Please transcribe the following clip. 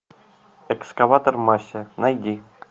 экскаватор мася найди